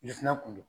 kun do